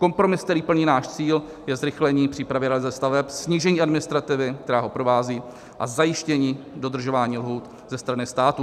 Kompromis, který plní náš cíl, je zrychlení přípravy realizace staveb, snížení administrativy, která ho provází, a zajištění dodržování lhůt ze strany státu.